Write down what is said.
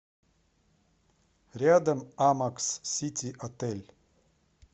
рядом амакс сити отель